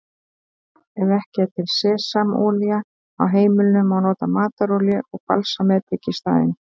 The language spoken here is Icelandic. Ef ekki er til sesamolía á heimilinu má nota matarolíu og balsamedik í staðinn.